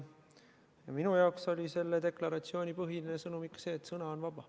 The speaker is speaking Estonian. Minu jaoks oli selle deklaratsiooni põhiline sõnum ikka see, et sõna on vaba.